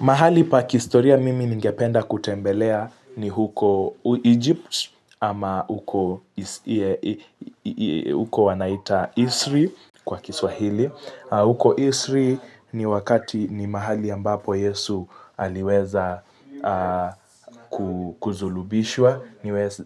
Mahali pa kihistoria mimi ningependa kutembelea ni huko Egypt ama huko huko wanaita Isri kwa kiswahili. Uko Isri ni wakati ni mahali ambapo Yesu aliweza kusulubishwa,